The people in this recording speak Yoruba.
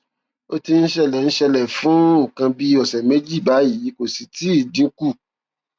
ó ti ń ṣẹlẹ ń ṣẹlẹ fún nǹkan bí ọsẹ méjì báyìí kò sì tíì dín kù